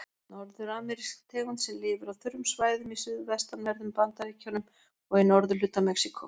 Norður-amerísk tegund sem lifir á þurrum svæðum í suðvestanverðum Bandaríkjunum og í norðurhluta Mexíkó.